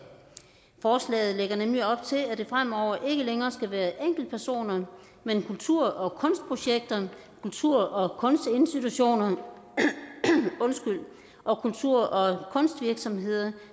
forslaget lægger nemlig op til at det fremover ikke længere skal være enkeltpersoner men kultur og kunstprojekter kultur og kunstinstitutioner og kultur og kunstvirksomheder